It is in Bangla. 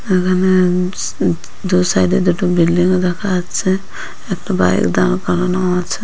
এখানে আ উপস উদ দু সাইড -এ দুটো বিল্ডিং -ও দেখা যাচ্ছে একটা বাইক দাঁড় করানোও আছে।